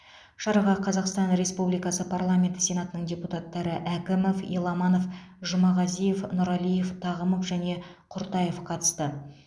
шараға қазақстан республикасы парламенті сенатының депутаттары әкімов еламанов жұмағазиев нұралиев тағымов және құртаев қатысты